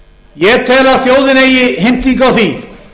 ég tel að þjóðin eigi heimtingu á því